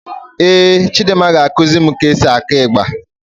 Éè Chidimma ga-ekusi mụ ka e si akụ ịgba